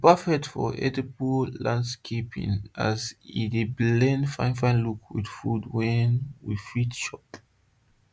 e perfect for edible landscaping as e dey blend fine fine look with food wey you fit chop